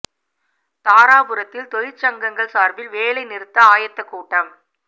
தாராபுரத்தில் தொழிற்சங்கங்கள் சாா்பில் வேலை நிறுத்த ஆயத்த கூட்டம்